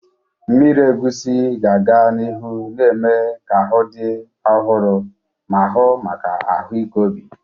Mmiri egusi ga-aga n'ihu na-eme ka ahụ dị ọhụrụ ma hụ maka ahụike obi.